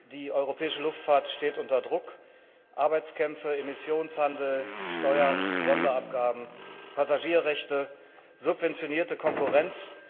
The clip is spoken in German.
Die europäische Luftfahrt steht unter Druck Arbeitskämpfe, Emissionshandel, Steuern, Sonderabgaben, Passagierrechte, subventionierte Konkurrenz.